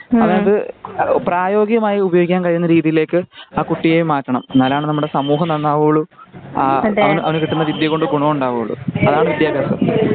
അതായതു പ്രയോഗികമായതു ഉപയോഗിക്കാൻ കഴിയുന്ന രീതിയിലേക്ക് ആ കുട്ടിയെ മാറ്റണം. എന്നാലാണ് നമ്മുടെ സമൂഹം നന്നാവുകയുള്ളു. അവനു കിട്ടുന്ന വിദ്ത്യ കൊണ്ട് ഗുണം ഉണ്ടാവുകയുള്ളു. അതാണ് വിദ്ത്യഭ്യാസം.